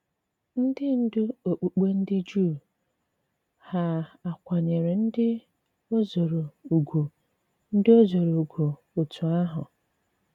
Ndị ndú okpùkpe ndị Jùù hà à kwànyèrè ndị òzòrò ùgwù ndị òzòrò ùgwù òtù ahụ?